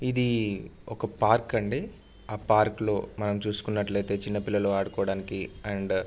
ఇది ఒక పార్క్ అండి ఆ పార్క్ లో మనం చూసుకునట్లు ఐతే చిన్న పిల్లలు ఆడుకోడానికి అండ్ --